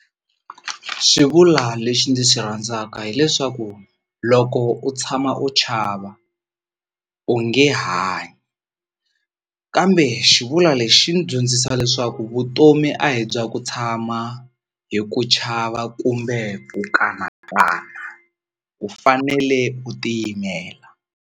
Xivulwa lexi ndzi xi rhandzaka hileswaku loko u tshama u chava u nge hanyi kambe xivulwa lexi ndzi dyondzisa leswaku vutomi a hi bya ku tshama hi ku chava kumbe ku kanakana u fanele u tiyimela.